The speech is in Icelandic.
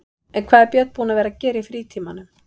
En hvað er Björn búinn að vera að gera í frítímanum?